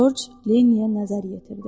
Corc Lenniyə nəzər yetirdi.